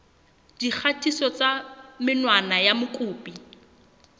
dikgatiso tsa menwana ya mokopi